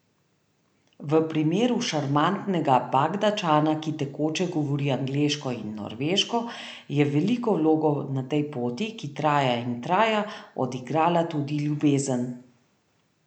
V primeru šarmantnega Bagdadčana, ki tekoče govori angleško in norveško, je veliko vlogo na tej poti, ki traja in traja, odigrala tudi ljubezen.